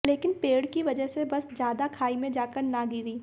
लेकिन पेड़ की वजह से बस ज्यादा खाई में जाकर ना गिरी